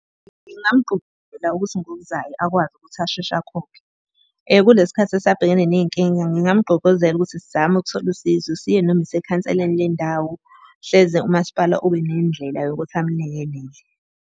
Ngingamgqugquzela ukuthi ngokuzayo akwazi ukuthi asheshe akhokhe. Kulesi khathi esabhekene ney'nkinga ngingamgqugquzela ukuthi sizame ukuthola usizo siye noma isekhanseleni le ndawo, hleze umasipala ube nendlela yokuthi amlekelele.